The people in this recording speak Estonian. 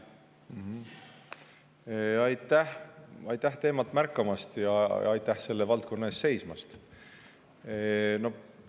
Aitäh teemat märkamast ja aitäh selle valdkonna eest seismast!